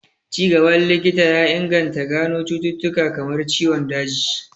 Ci gaban likita ya inganta gano cututtuka kamar ciwon daji